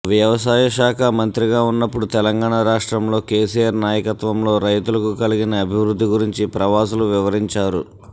వ్యవసాయ శాఖ మంత్రిగా ఉన్నప్పుడు తెలంగాణ రాష్ట్రంలో కెసిఆర్ నాయకత్వంలో రైతులకు కలిగిన అభివృద్ధి గురించి ప్రవాసులు వివరించారు